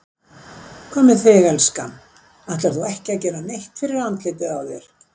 Hvað með þig, elskan. ætlar þú ekki að gera neitt fyrir andlitið á þér?